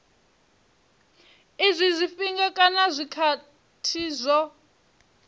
izwi zwifhinga kana zwikhathi zwo